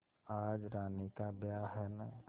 आज रानी का ब्याह है न